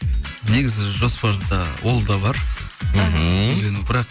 негізі жоспарда ол да бар мхм үйлену бірақ